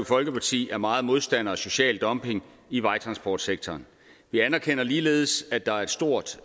folkeparti er meget modstandere af social dumping i vejtransportsektoren vi anerkender ligeledes at der er et stort